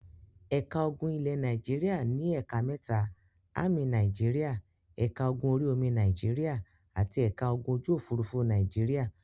Ẹ̀ka ogun ilẹ̀ Nàìjíríà ní ẹ̀ka mẹ́ta; Ámì Nàìjíríà, ẹ̀ka ogun orí-omi Nàìjíríà àti ẹ̀ka ogun ojú-òfurufú Nàìjíríà.